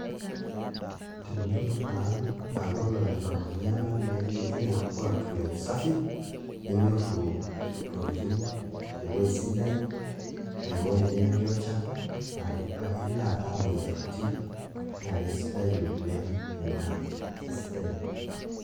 Tenilo taa aaku olonyorr ormanayara naai nitum orkuak le usafi ninyorru ntokitin, ewuei sidai ewuei nemetii olchafu naa ilo aaraa imuoyiaritin naa kesidai oleng' ina, kesidai ina.